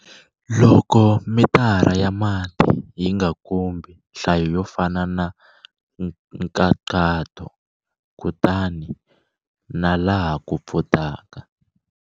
Loko mitara ya mati yi nga kombi nhlayo yo fana hi nkhaqato, kutani na laha ku pfutaka.